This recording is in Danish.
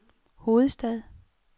hovedstad